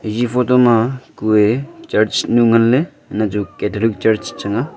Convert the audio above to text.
eya photo ma kue church nu ngan ley nah chu catholic church chang a.